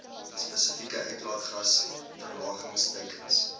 spesifieke uitlaatgas verlagingsteikens